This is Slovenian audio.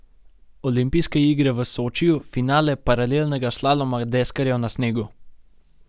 Olimpijske igre v Sočiju, finale paralelnega slaloma deskarjev na snegu.